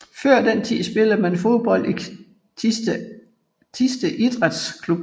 Før den tid spillede man fodbold i Thisted Idræts Klub